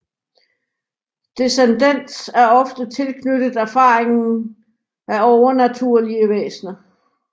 Descendens er ofte tilknyttet erfaringen af overnaturlige væsner